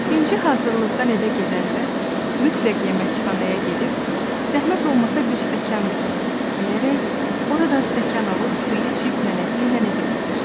İnci hazırlıqdan evə gedəndə mütləq yeməkxanaya gedib, zəhmət olmasa bir stəkan verin deyərək, oradan stəkan alıb, suyu içib, nənəsi ilə evə gedir.